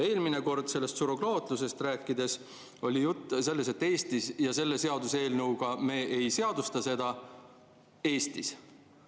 Eelmine kord surrogaatlusest rääkides oli juttu, et selle seaduseelnõuga me ei seadusta seda Eestis.